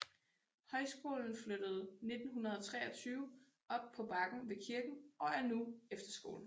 Højskolen flyttede 1923 op på bakken ved kirken og er nu efterskole